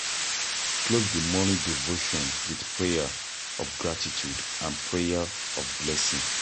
Close di morning devotion with prayer of gratitude and prayer of blessing